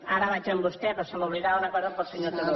ara vaig amb vostè però se m’oblidava una cosa per al senyor turull